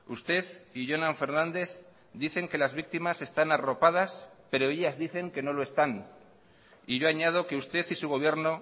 usted y jonan fernandez dicen que las víctimas están arropadas pero ellas dicen que no lo están y yo añado que usted y su gobierno